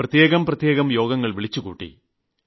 പ്രത്യേകം പ്രത്യേകം യോഗങ്ങൾ വിളിച്ചുകൂട്ടി